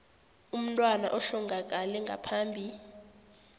umntwana ohlongakele ngaphambi